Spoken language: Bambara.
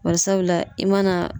Bari sabula, i mana